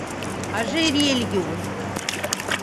ожерелью